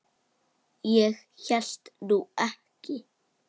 Ég hélt nú ekki.